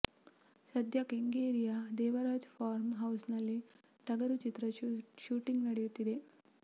ಸದ್ಯ ಕೆಂಗೇರಿಯ ದೇವರಾಜ್ ಫಾರ್ಮ್ ಹೌಸ್ನಲ್ಲಿ ಟಗರು ಚಿತ್ರದ ಶೂಟಿಂಗ್ ನಡೆಯುತ್ತಿದೆ